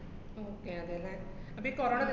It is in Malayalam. okay അതെല്ലേ. അപ്പ ഈ corona വര~